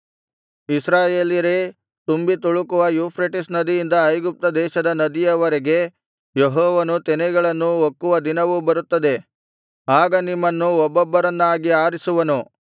ಇಸ್ರಾಯೇಲರೇ ತುಂಬಿತುಳುಕುವ ಯೂಫ್ರೆಟಿಸ್ ನದಿಯಿಂದ ಐಗುಪ್ತ ದೇಶದ ನದಿಯವರೆಗೆ ಯೆಹೋವನು ತೆನೆಗಳನ್ನು ಒಕ್ಕುವ ದಿನವು ಬರುತ್ತದೆ ಆಗ ನಿಮ್ಮನ್ನು ಒಬ್ಬೊಬ್ಬರನ್ನಾಗಿ ಆರಿಸುವನು